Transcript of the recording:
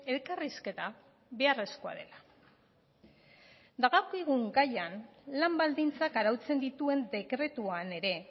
elkarrizketa beharrezkoa dela dagokigun gaian lan baldintzak arautzen dituen dekretuan ere